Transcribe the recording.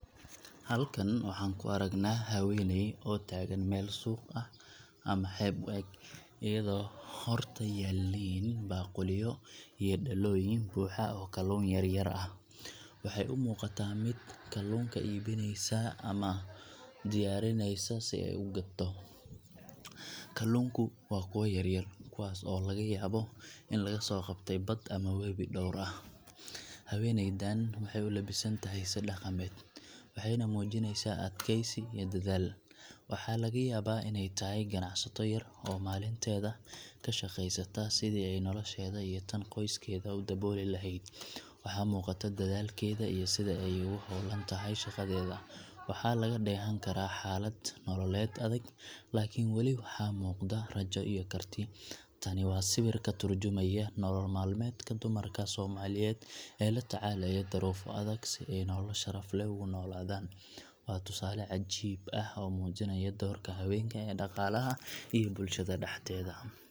Halkan waxaan ku aragnaa haweeney Soomaaliyeed oo taagan meel suuq ah ama xeeb u eg, iyadoo horta yaalliin baaquliyo iyo dhalooyin buuxa oo kalluun yar yar ah. Waxay u muuqataa mid kalluunka iibinaysa ama diyaarinaysa si ay u gadto. Kalluunku waa kuwo yar yar, kuwaas oo laga yaabo in laga soo qabtay bad ama webi dhowr ah. Haweeneydan waxay u labisan tahay si dhaqameed, waxayna muujinaysaa adkaysi iyo dadaal. Waxaa laga yaabaa inay tahay ganacsato yar oo maalinteeda ka shaqaysata sidii ay nolosheeda iyo tan qoyskeeda u dabooli lahayd. Waxaa muuqata dadaalkeeda iyo sida ay ugu hawlan tahay shaqadeeda. Waxaa laga dheehan karaa xaalad nololeed adag, laakiin weli waxaa muuqda rajo iyo karti. Tani waa sawir ka tarjumaya nolol maalmeedka dumarka Soomaaliyeed ee la tacaalaya duruufo adag si ay nolol sharaf leh ugu noolaadaan. Waa tusaale cajiib ah oo muujinaya doorka haweenka ee dhaqaalaha iyo bulshada dhexdeeda.